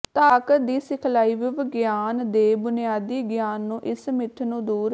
ਤਾਕਤ ਦੀ ਸਿਖਲਾਈ ਵਿਵਗਆਨ ਦੇ ਬੁਨਿਆਦੀ ਗਿਆਨ ਨੂੰ ਇਸ ਮਿੱਥ ਨੂੰ ਦੂਰ